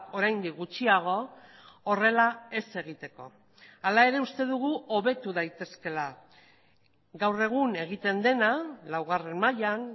oraindik gutxiago horrela ez egiteko hala ere uste dugu hobetu daitezkeela gaur egun egiten dena laugarren mailan